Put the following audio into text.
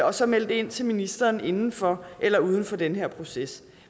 og så melde det ind til ministeren inden for eller uden for den her proces